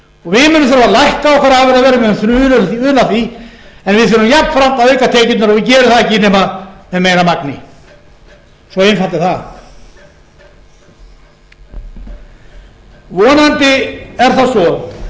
við munum þurfa að lækka okkar afurðaverð við verðum bara að una því en við þurfum jafnframt að auka tekjurnar og við gerum það ekki nema með meira magni svo einfalt er það vonandi er það svo